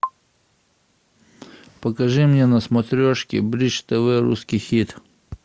покажи мне на смотрешке бридж тв русский хит